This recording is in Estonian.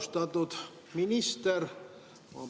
Austatud minister!